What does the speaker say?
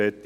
Fertig